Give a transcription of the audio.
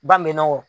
Ba mɛnɛ o